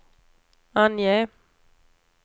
ange